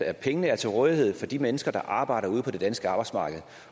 at pengene er til rådighed for de mennesker der arbejder ude på det danske arbejdsmarked